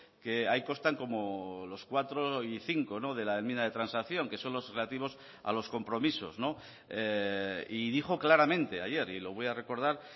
que ahí constan como los cuatro y cinco de la enmienda de transacción que son los relativos a los compromisos y dijo claramente ayer y lo voy a recordar